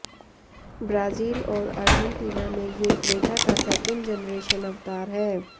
Brazil और Argentina में ये क्रेटा का सेकेंड जनरेशन अवतार है